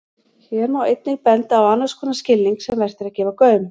Hér má einnig benda á annars konar skilning sem vert er að gefa gaum.